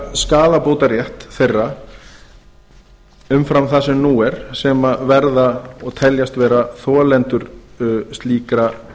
skaðabótarétt þeirra umfram það sem nú er sem verða og teljast vera þolendur slíkra